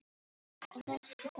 En þessi stytta kom heim til